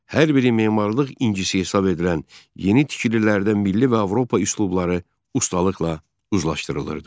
Hər biri memarlıq incisi hesab edilən yeni tikililərdə milli və Avropa üslubları ustalıqla uzlaşdırılırdı.